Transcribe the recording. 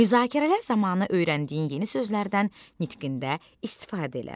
Müzakirələr zamanı öyrəndiyin yeni sözlərdən nitqində istifadə elə.